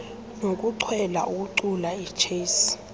nokuchwela ukucula ichess